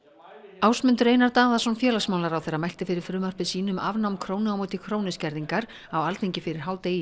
Ásmundur Einar Daðason félagsmálaráðherra mælti fyrir frumvarpi sínu um afnám krónu á móti krónu skerðingar á Alþingi fyrir hádegi